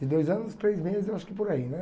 De dois anos e três meses, eu acho que por aí, né?